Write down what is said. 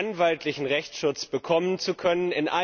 anwaltlichen Rechtschutz bekommen zu können.